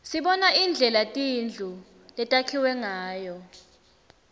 sibona indlela tindlu letakhiwe ngayo